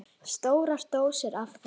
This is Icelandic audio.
Stórar dósir af þeim.